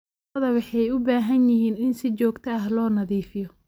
Lo'da waxay u baahan yihiin in si joogto ah loo nadiifiyo.